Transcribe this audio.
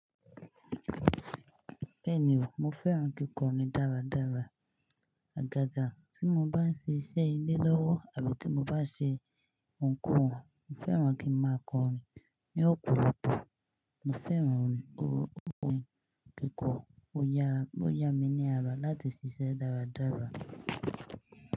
Bẹ́ẹ̀ni o, mo fẹ́ràn kíkọrin dáradára. Àgàgà tí mo bá ń ṣe iṣẹ́ ilé lọ́wọ́ àbí tí mo bá ṣe ohunkóhun, mo fẹ́ràn kí n máa kọrin ní òpòlopò. Mo fẹ́ràn orin, orin kíkọ o yára, ó yá mi ní ara láti ṣiṣẹ́ dáradára.